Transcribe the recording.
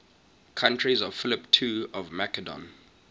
courtiers of philip ii of macedon